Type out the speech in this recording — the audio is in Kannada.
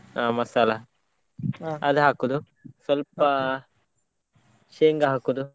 ಹಾ ಮಸಾಲಾ ಅದು ಹಾಕೋದು ಸ್ವಲ್ಪ ಶೇಂಗಾ ಹಾಕೋದು.